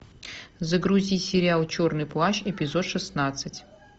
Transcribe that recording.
загрузи сериал черный плащ эпизод шестнадцать